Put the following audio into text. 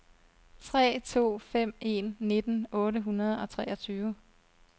tre to fem en nitten otte hundrede og treogtyve